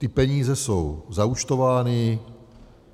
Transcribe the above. Ty peníze jsou zaúčtovány.